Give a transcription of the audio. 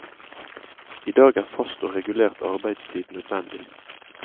I dag er fast og regulert arbeidstid nødvendig.